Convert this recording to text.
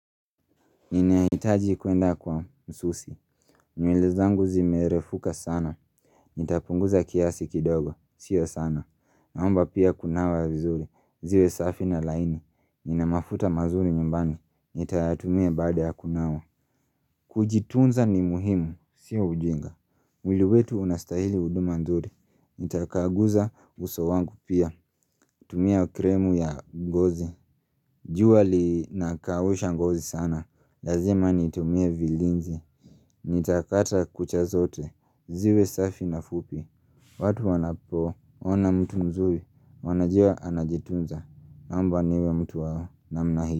Ninahitaji kwenda kwa msusi. Nywele zangu zimerefuka sana. Nitapunguza kiasi kidogo. Sio sana. Naomba pia kunawa vizuri. Ziwe safi na laini. Nina mafuta mazuri nyumbani. Nitayatumia baada ya kunawa. Kujitunza ni muhimu. Sio ujinga. Mwili wetu unastahili huduma nzuri. Nitakaguza uso wangu pia. Tumia kremu ya ngozi. Jua linakausha ngozi sana. Lazima nitumie vilinzi Nitakata kucha zote ziwe safi na fupi watu wanapoona mtu mzuri wanajua anajitunza Naomba niwe mtu wa namna hii.